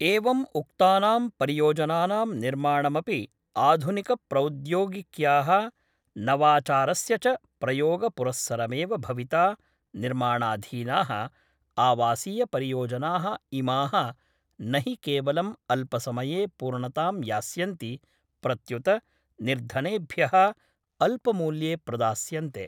एवं उक्तानां परियोजनानां निर्माणमपि आधुनिकप्रौद्योगिक्या: नवाचारस्य च प्रयोगपुरस्सरमेव भविता निर्माणाधीना: आवासीयपरियोजना: इमा: न हि केवलं अल्पसमये पूर्णतां यास्यन्ति प्रत्युत निर्धनेभ्य: अल्पमूल्ये प्रदास्यन्ते।